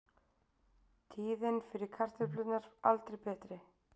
Tíðin fyrir kartöflurnar aldrei betri